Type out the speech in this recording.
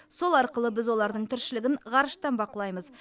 сол арқылы біз олардың тіршілігін ғарыштан бақылаймыз